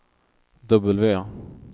W